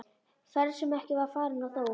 Ferð sem ekki var farin- og þó!